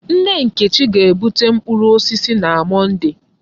Nne Nkechi ga-bute mkpụrụ osisi na Mọnde.